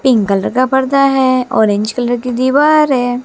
Pink colour का पर्दा है ऑरेंज कलर की दीवार है।